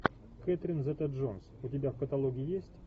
кэтрин зета джонс у тебя в каталоге есть